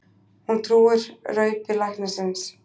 Hún trúir raupi læknisins.